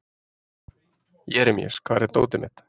Jeremías, hvar er dótið mitt?